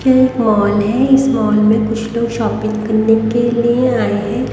ये एक माल है इस माल में कुछ लोग शॉपिंग करने के लिए आए हैं।